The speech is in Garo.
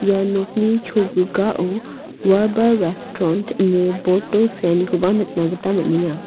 ia nokni cholgugao warbah restront ine board -o seanikoba nikna gita man·enga.